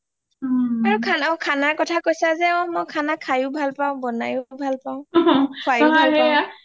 আৰু খানাৰ কথা ও কৈছা যে অ মই খানা খাই ও ভাল পাওঁ বনাই ও ভাল পাওঁ